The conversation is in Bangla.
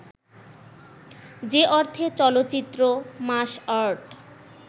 যে অর্থে চলচ্চিত্র মাস আর্ট